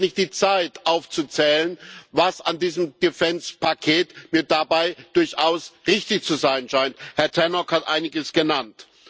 Ich habe nicht die Zeit aufzuzählen, was an diesem Paket mir dabei durchaus richtig zu sein scheint Herr Tannock hat einiges genannt.